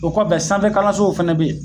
O kɔfɛ sanfɛkalansow fɛnɛ be ye